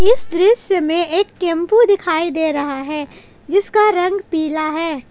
इस दृश्य में एक टेंपू दिखाई दे रहा है जिसका रंग पीला है।